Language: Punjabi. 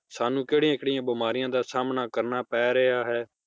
ਸਾਨੂੰ ਕਿਹੜੀਆਂ-ਕਿਹੜੀਆਂ ਬਿਮਾਰੀਆਂ ਦਾ ਸਾਮਣਾ ਕਰਨਾ ਪੈ ਰਿਹਾ ਹੈ?